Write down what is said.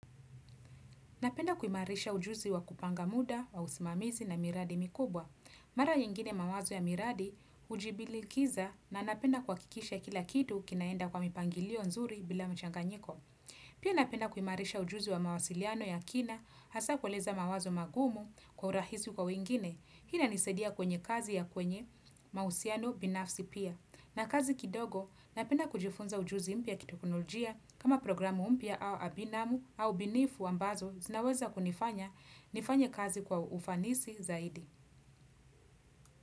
Napenda kuimarisha ujuzi wa kupanga muda wa usimamizi na miradi mikubwa. Mara nyingine mawazo ya miradi hujibilikiza na napenda kuhakikisha kila kitu kinaenda kwa mipangilio nzuri bila mchanganyiko. Pia napenda kuimarisha ujuzi wa mawasiliano ya kina hasa kueleza mawazo magumu kwa urahisi kwa wengine. Hii inanisaidia kwenye kazi ya kwenye mausiano binafsi pia. Na kazi kidogo, napenda kujifunza ujuzi mpya kiteknolojia kama programu mpya au abinamu au binifu ambazo zinaweza kunifanya nifanye kazi kwa ufanisi zaidi.